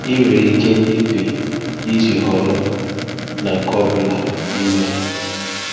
I nwere ike ịpị iji họrọ na nke ọ bụla n'ime ha.